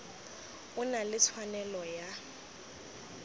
o na le tshwanelo ya